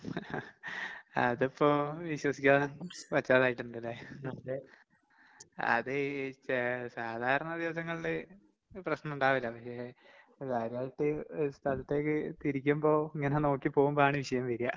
അതപ്പോ വിശ്വസിക്കാതെ പറ്റാതായിട്ടുണ്ട് അല്ലേ? അത് ഈ ചെ സാധാരണ ദിവസങ്ങളില് പ്രശ്നം ഇണ്ടാവില്ല, പിന്നെ ആയിട്ട് ഒരു സ്ഥലത്തേക്ക് തിരിക്കുമ്പോ ഇങ്ങനെ നോക്കി പോവുമ്പോഴാണ് വിഷയം വരിക.